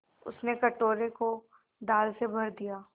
उसने कटोरे को दाल से भर दिया